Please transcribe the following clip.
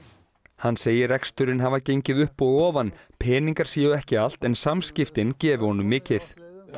hann segir að reksturinn hafi gengið upp og ofan peningar séu ekki allt en samskiptin gefi honum mikið